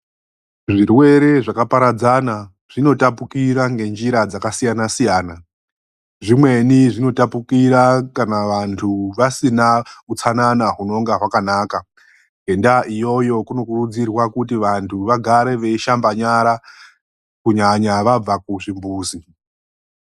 Zvirwere zvakaparadzana zvinotapukira ngenjira dzakasiyana-siyana. Zvimweni zvinotapukira kana vantu vasina utsanana hunonga hwakanaka. Ngendaa iyoyo kunokurudzirwa kuti vantu vagare veishamba nyara, kunyanya vabva kuzvimbuzi.